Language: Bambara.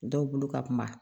Dɔw bolo ka kuma